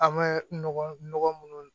A ma nɔgɔ minnu